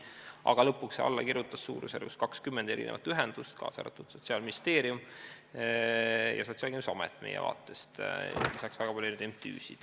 Aga lõpuks kirjutas alla suurusjärgus 20 ühendust, kaasa arvatud Sotsiaalministeerium ja Sotsiaalkindlustusamet meie vaates, lisaks väga palju MTÜ-sid.